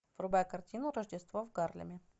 врубай картину рождество в гарлеме